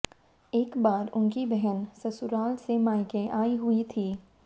एक बार उनकी बहन ससुराल से मायके आई हुई थी